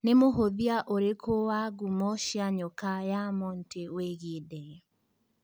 nĩ mũhũthia ũrikũ wa ngumo cia nyoka ya Monty wĩigie ndege